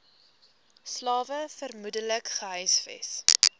slawe vermoedelik gehuisves